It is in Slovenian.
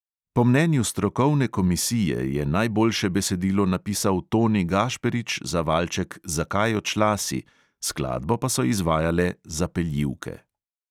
Po mnenju strokovne komisije je najboljše besedilo napisal toni gašperič za valček zakaj odšla si, skladbo pa so izvajale zapeljivke.